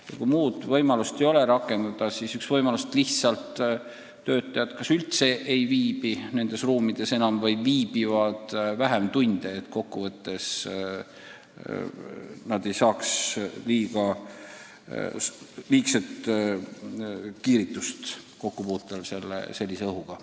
Ja kui muud võimalust ei ole, siis on üks võimalus, et lihtsalt töötajad üldse ei viibi enam nendes ruumides või viibivad seal vähem tunde, et nad kokkuvõttes ei saaks liigset kiiritust kokkupuutel sellise õhuga.